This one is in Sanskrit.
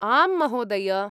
आं महोदय।